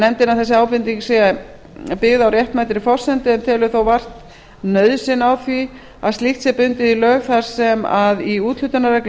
að þessi ábending sé byggð á réttmætri forsendu en telur þó vart nauðsyn á því að slíkt sé bundið í lög þar sem að í úthlutunarreglum